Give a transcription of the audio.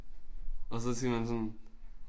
Og så skal man sådan